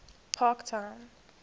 parktown